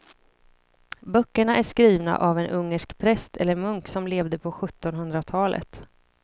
Böckerna är skrivna av en ungersk präst eller munk som levde på sjuttonhundratalet.